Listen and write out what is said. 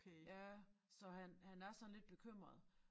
Ja så han han er sådan lidt bekymret